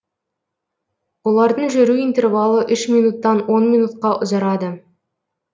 олардың жүру интервалы үш минуттан он минутқа ұзарады